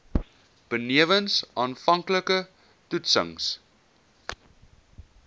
benewens aanvanklike toetsings